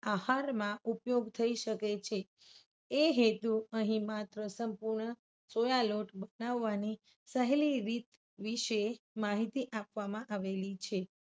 આહારમાં ઉપયોગ થઈ શકે છે. એ હેતુ અહીં માત્ર સંપૂર્ણ સોયા લોટ બનાવવાની સહેલી રીત વિશે માહિતી આપવામાં આવેલી છે.